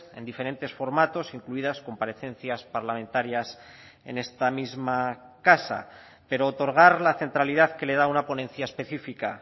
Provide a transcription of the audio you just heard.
en diferentes formatos incluidas comparecencias parlamentarias en esta misma casa pero otorgar la centralidad que le da una ponencia específica